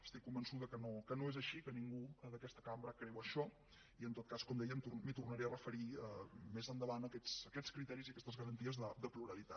estic convençuda que no és així que ningú d’aquesta cambra creu això i en tot cas com deia m’hi tornaré a referir més endavant a aquests criteris i a aquestes garanties de pluralitat